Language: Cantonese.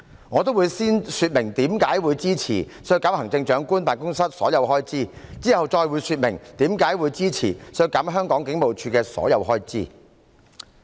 我會先說明為何支持削減特首辦所有開支，其後再說明為何支持削減香港警務處的所有開支。